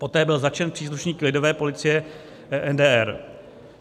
Poté byl zatčen příslušníky Lidové policie NDR.